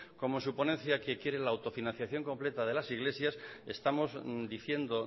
como su ponencia que quiere la autofinanciación completa de las iglesias estamos diciendo